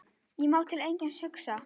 Ég má til einskis hugsa.